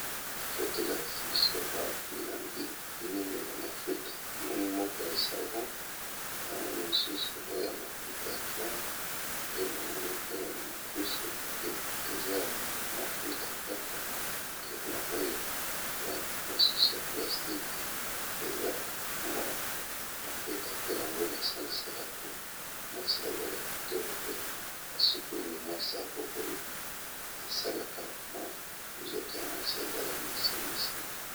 Photo balakisi biso awa ba milangi ya mafuta yakopakola na nzoto, na ba sabuni